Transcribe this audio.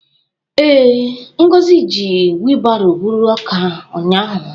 Ee, Ngozi ji wilbaro buru ọka ụnyahụ.